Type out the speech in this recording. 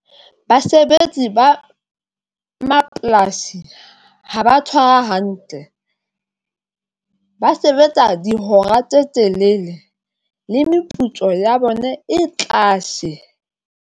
Basebetsi ba mapolasi haba tshwara hantle ba sebetsa dihora tse telele le meputso ya bone e tlase.